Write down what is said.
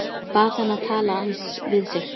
Bað hann að tala aðeins við sig.